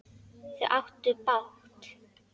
Þau áttu bágt!